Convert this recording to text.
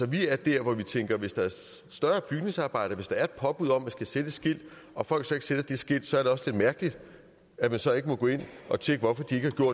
vi er der hvor vi tænker hvis der er et større bygningsarbejde og hvis der er påbud om at man skal sætte et skilt og folk så ikke sætter det skilt så er det også lidt mærkeligt at man så ikke må gå ind at tjekke hvorfor